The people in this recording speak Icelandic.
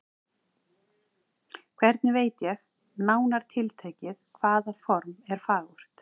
Hvernig veit ég, nánar tiltekið, hvaða form er fagurt?